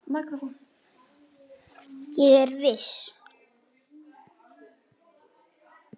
Ég er viss.